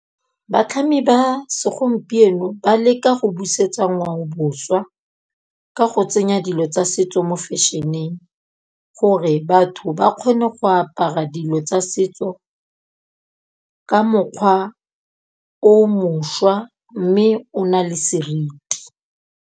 Batlhami ba segompieno ba leka go busetsa ngwaobošwa, ka go tsenya dilo tsa setso mo fashion-eng, gore batho ba kgone go apara dilo tsa setso ka mokgwa o mošwa mme o na le seriti.